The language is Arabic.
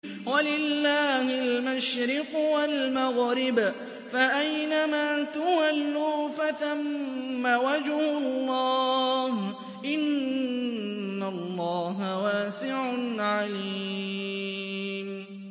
وَلِلَّهِ الْمَشْرِقُ وَالْمَغْرِبُ ۚ فَأَيْنَمَا تُوَلُّوا فَثَمَّ وَجْهُ اللَّهِ ۚ إِنَّ اللَّهَ وَاسِعٌ عَلِيمٌ